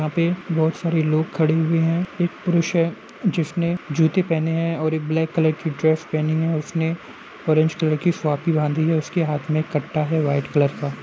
यहाँ पे बोहोत सारे लोग खड़े हुए हैं। एक पुरुष है जिसने जूते पहने है और एक ब्लैक कलर की ड्रेस पहनी है। उसने ऑरेंज कलर की बांधी है। उसके हाथ में एक कट्टा है व्हाइट कलर का।